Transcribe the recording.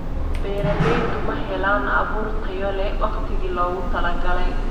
Beeraleydu ma helaan abuur tayo leh waqtigii loogu talagalay.